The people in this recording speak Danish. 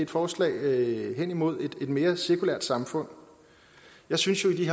forslag hen imod et mere sekulært samfund jeg synes at vi